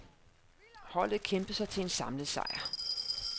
Holdet kæmpede sig til en samlet sejr.